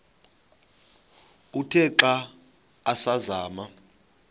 uthe xa asazama